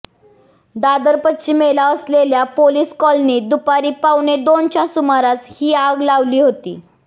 दादर पश्चिमेला असलेल्या पोलीस कॉलनीत दुपारी पावणे दोनच्या सुमारास ही आग लागली होती